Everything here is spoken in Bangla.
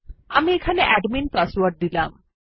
আমি এখানে অ্যাডমিন পাসওয়ার্ড দিলাম